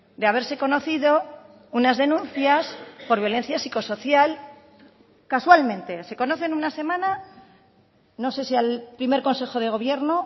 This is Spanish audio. de haberse conocido unas denuncias por violencia psicosocial casualmente se conoce en una semana no sé si al primer consejo de gobierno